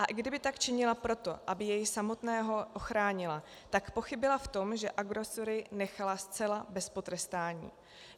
A i kdyby tak činila proto, aby jej samotného ochránila, tak pochybila v tom, že agresory nechala zcela bez potrestání.